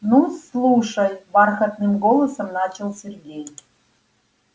ну слушай бархатным голосом начал сергей